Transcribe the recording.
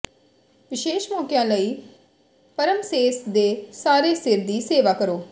ਵਿਸ਼ੇਸ਼ ਮੌਕਿਆਂ ਲਈ ਪਰਮਸੇਸ ਦੇ ਸਾਰੇ ਸਿਰ ਦੀ ਸੇਵਾ ਕਰੋ